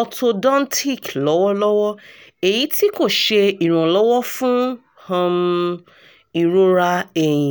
orthodontic lọwọlọwọ eyiti ko ṣe iranlọwọ fun um irora ẹhin